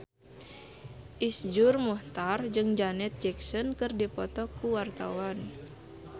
Iszur Muchtar jeung Janet Jackson keur dipoto ku wartawan